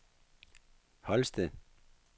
Holsted